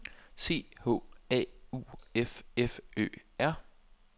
C H A U F F Ø R